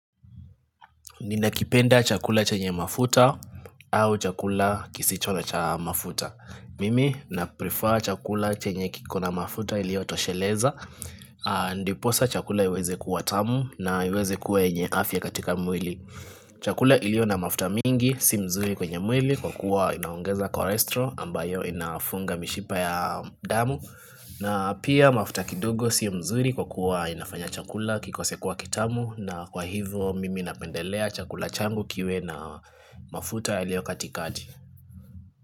Ninakipenda chakula chenye mafuta au chakula kisicho cha mafuta? Mimi na prefer chakula chenye kikona mafuta iliyotosheleza ndiposa chakula iweze kuwa tamu na iweze kuwa yenye afya katika mwili Chakula ilio na mafuta mingi si mzuri kwenye mwili kwa kuwa inaongeza kolestrol ambayo inafunga mishipa ya damu na pia mafuta kidogo sio mzuri kwa kuwa inafanya chakula kikose kuwa kitamu na kwa hivyo mimi napendelea chakula changu kiwe na mafuta yaliyo katikati.